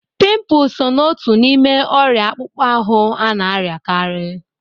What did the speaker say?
Pịmpul sọ na ọtu n'ime oria akpukpọ ahụ ana-ariakari.